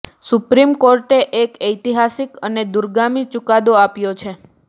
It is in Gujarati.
સુપ્રીમ કોર્ટે એક ઐતિહાસિક અને દુરગામી ચુકાદો આપ્યો છેે